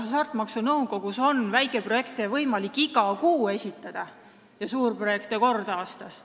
Hasartmängumaksu Nõukogusse on võimalik taotlusi väikeprojektide jaoks esitada iga kuu ja suurprojektide jaoks kord aastas.